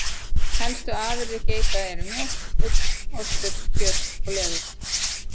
Helstu afurðir geita eru mjólk, ull, ostur, kjöt og leður.